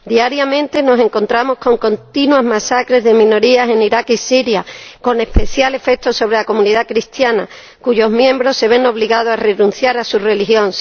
Diariamente nos encontramos con continuas masacres de minorías en Irak y Siria, con especial efecto sobre la comunidad cristiana, cuyos miembros se ven obligados a renunciar a su religión